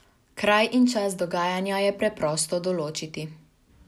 Kraj in čas dogajanja je preprosto določiti.